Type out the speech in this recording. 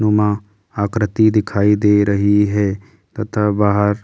आकृति दिखाई दे रही है तथा बाहर कुछ।